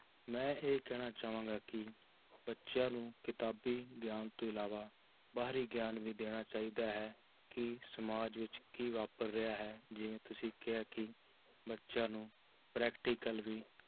ਮੈਂ ਇਹ ਕਹਿਣਾ ਚਾਹਾਂਗਾ ਕਿ ਬੱਚਿਆਂ ਨੂੰ ਕਿਤਾਬੀ ਗਿਆਨ ਤੋਂ ਇਲਾਵਾ ਬਾਹਰੀ ਗਿਆਨ ਵੀ ਦੇਣਾ ਚਾਹੀਦਾ ਹੈ, ਕਿ ਸਮਾਜ ਵਿੱਚ ਕੀ ਵਾਪਰ ਰਿਹਾ ਹੈ, ਜਿਵੇਂ ਤੁਸੀਂ ਕਿਹਾ ਕਿ ਬੱਚਿਆਂ ਨੂੰ practical ਵੀ